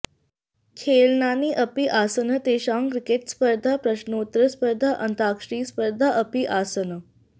खेलनानि अपि आसन् तेषां क्रिकेटस्पर्धा प्रश्नोत्तरस्पर्धा अन्ताक्षरीस्पर्धा अपि आसन्